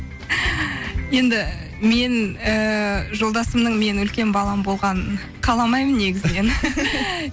енді мен ііі жолдасымның менің үлкен балам болғанын қаламаймын негізінен